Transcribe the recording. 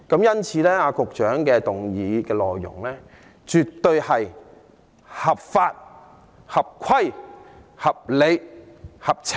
因此，局長的議案內容絕對是合法、合規、合理、合情。